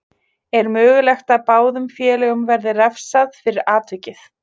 Er mögulegt að báðum félögum verði refsað fyrir atvikið.